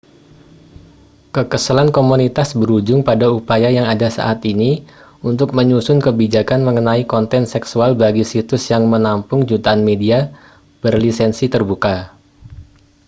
kekesalan komunitas berujung pada upaya yang ada saat ini untuk menyusun kebijakan mengenai konten seksual bagi situs yang menampung jutaan media berlisensi terbuka